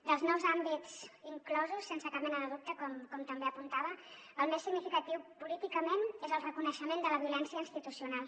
dels nous àmbits inclosos sense cap mena de dubte com també apuntava el més significatiu políticament és el reconeixement de la violència institucional